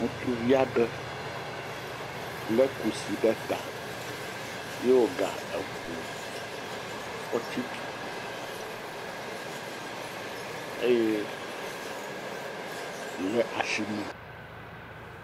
Ŋutsuvi aɖe le kusi ɖe ta eye wo ga eŋu fɔtsi tutum eye le asime.